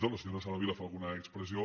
la senyora sara vilà fa alguna expressió